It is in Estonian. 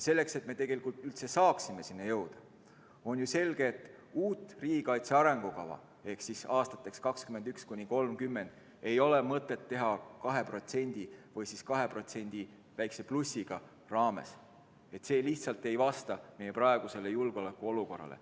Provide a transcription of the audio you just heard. Selleks, et me üldse saaksime selleni jõuda, on ju selge, et uut riigikaitse arengukava aastateks 2021–2030 ei ole mõtet teha 2% või 2%+ raames, see lihtsalt ei vasta meie praegusele julgeolekuolukorrale.